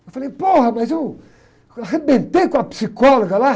Eu falei, mas eu arrebentei com a psicóloga lá.